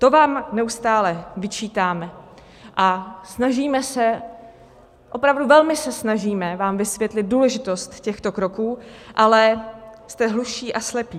To vám neustále vyčítáme a snažíme se, opravdu velmi se snažíme vám vysvětlit důležitost těchto kroků, ale jste hluší a slepí.